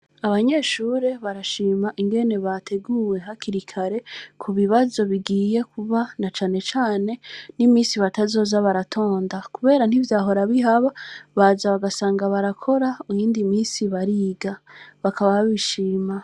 Abanyeshure barashima ingene bateguwe hakiri kare, ku bibazo bigiye kuba, na cane cane n’iminsi batazoza baratonda; kubera ntivyahora bihaba, baza bagasanga barakora, iyindi minsi bariga; bakaba babishima.